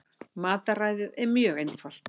Mataræðið er mjög einfalt